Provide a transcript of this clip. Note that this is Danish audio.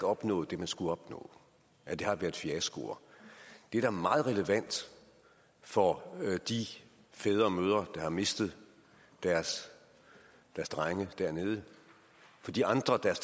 opnået det man skulle opnå at det har været fiaskoer det er da meget relevant for de fædre og mødre der har mistet deres drenge dernede og de andre der